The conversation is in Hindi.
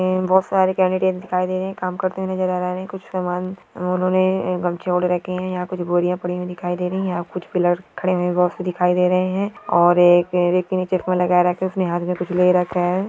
बहुत सारे केंडिडेट्स दिखाय दे रहे हैंकाम करते हुए नजर आ रहे हैं कुछ समान उन्होंने गमछे ओढ़ रखे हैं। यहाँ कुछ बोरिया पड़ी हुई दिखाई दे रही हैं। यहाँ कुछ पिलर खड़े बहुत से दिखाई दे रहे हैं और एक चश्मा लगाये रखा उसने हाथ मे कुछ ले रखा है।